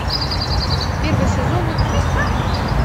первый сезон игры престолов